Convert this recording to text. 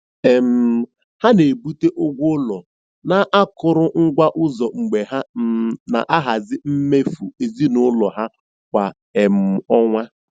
um Ha na-ebute ụgwọ ụlọ na akụrụngwa ụzọ mgbe ha um na-ahazi mmefu ezinụlọ ha kwa um ọnwa.